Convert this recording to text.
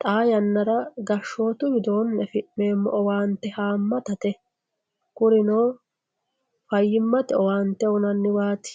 xaa yannara gashshootu widooonni afi'neemmo owaante haammatate kurino fayyimmate owaante uyinanniwaati